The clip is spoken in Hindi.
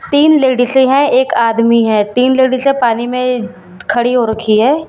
तीन लेडीसे हैं एक आदमी है तीन लेडीसे पानी में खड़ी हो रखी हैं।